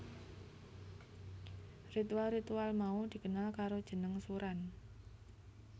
Ritual ritual mau dikenal karo jeneng suran